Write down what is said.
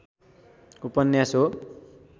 उपन्यास हो।